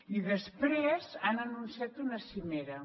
i després han anunciat una cimera